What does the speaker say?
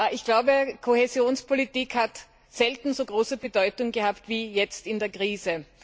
Ich glaube, Kohäsionspolitik hat selten so große Bedeutung gehabt wie jetzt in der Krise.